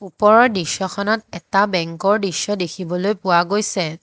ওপৰৰ দৃশ্যখনত এটা বেঙ্ক ৰ দৃশ্য দেখিবলৈ পোৱা গৈছে।